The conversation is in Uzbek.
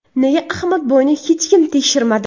Nega Ahmadboyni hech kim tekshirmadi?”.